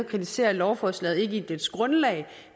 kritiserer lovforslaget i dets grundlag